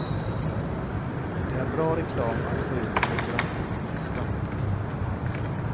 Det är bra reklam att få ut restaurangnamnet i skvallerpressen.